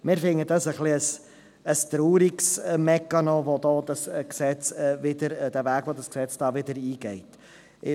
Wir finden dies einen etwas traurigen Mechanismus, der mit diesem Gesetz eingegangen wird.